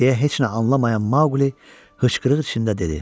Deyə heç nə anlamayan Maquli hıçqırıq içində dedi.